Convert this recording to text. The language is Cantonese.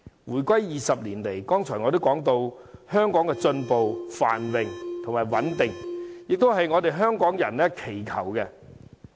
回歸20年間，正如我剛才也提到，香港一直進步、繁榮和穩定，這也是香港人所祈求的。